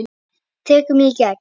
Tekur mig í gegn.